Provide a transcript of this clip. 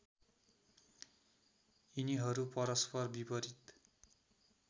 यिनीहरू परस्पर विपरित